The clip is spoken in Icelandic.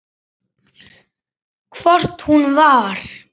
Hvort hún var!